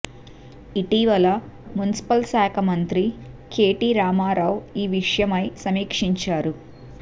ఇటీవల మున్సిపల్ శాఖ మంత్రి కెటి రామారావు ఈ విషయమై సమీక్షించారు